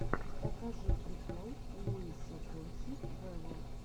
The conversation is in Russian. покажи прикол луиса фонси вево